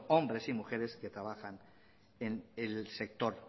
hombre y mujeres que trabajan en el sector